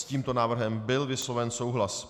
S tímto návrhem byl vysloven souhlas.